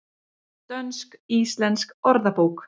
Dönsk-íslensk orðabók.